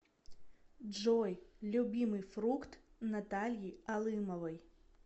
джой любимый фрукт натальи алымовой